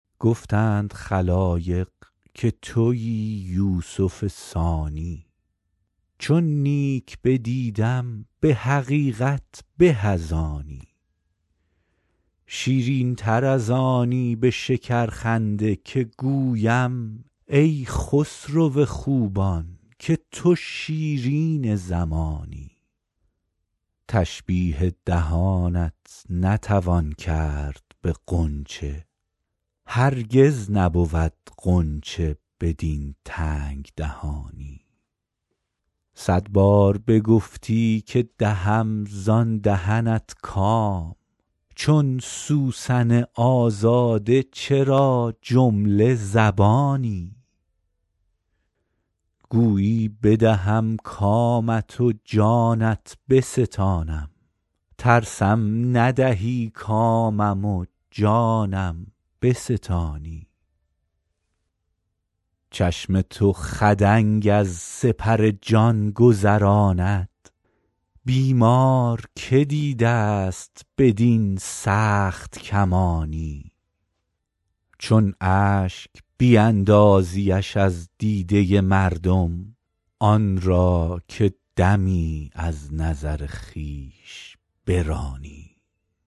گفتند خلایق که تویی یوسف ثانی چون نیک بدیدم به حقیقت به از آنی شیرین تر از آنی به شکرخنده که گویم ای خسرو خوبان که تو شیرین زمانی تشبیه دهانت نتوان کرد به غنچه هرگز نبود غنچه بدین تنگ دهانی صد بار بگفتی که دهم زان دهنت کام چون سوسن آزاده چرا جمله زبانی گویی بدهم کامت و جانت بستانم ترسم ندهی کامم و جانم بستانی چشم تو خدنگ از سپر جان گذراند بیمار که دیده ست بدین سخت کمانی چون اشک بیندازیش از دیده مردم آن را که دمی از نظر خویش برانی